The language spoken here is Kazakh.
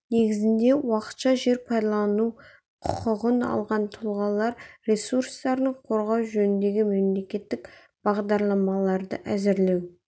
негізінде уақытша жер пайдалану құқығын алған тұлғалар ресурстарын қорғау жөніндегі мемлекеттік бағдарламаларды әзірлеу